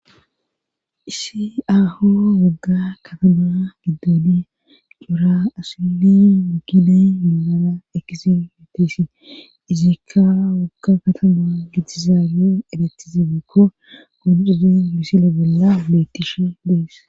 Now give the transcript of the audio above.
isiaho wagga katama giddooni cura asili mukina munana ekisi metisi izikka wagga katama gidizaabe edetizebeekko koonxuze misila bolla beettishe dees